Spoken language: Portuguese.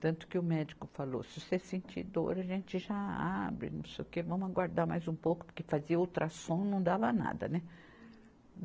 Tanto que o médico falou, se você sentir dor, a gente já abre, não sei o quê, vamos aguardar mais um pouco, porque fazia o ultrassom não dava nada, né.